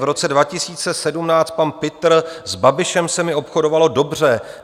V roce 2017 pan Pitr: "S Babišem se mi obchodovalo dobře.